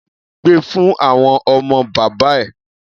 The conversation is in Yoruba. Gbe fún àwọn ọmọ bàbá ẹ!